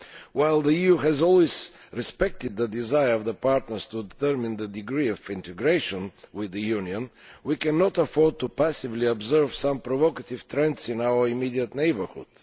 While the EU has always respected the desire of our partners to determine their degree of integration with the Union, we cannot afford to passively observe some provocative trends in our immediate neighbourhood.